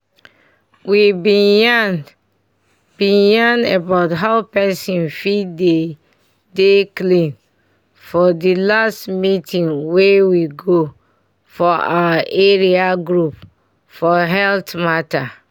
we bin yan bin yan about how pesin fit dey dey clean for di last meeting wey we go for our area group for health mata